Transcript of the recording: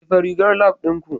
Jefa rigar lab ɗinku